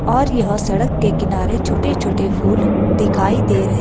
और यह सड़क के किनारे छोटे छोटे फूल दिखाई दे रहे--